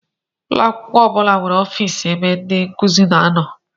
Ụlọakwụkwọ ọbula nwéré ọffici ebe ndị nkụzi na-ano.